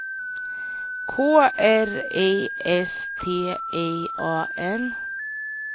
K R I S T I A N